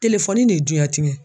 ne ye duyan tiɲɛn.